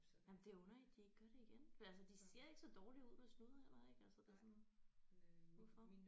Jamen det er underligt de ikke gør det igen for altså de ser ikke så dårlig ud med snuder heller ikke altså det er sådan hvorfor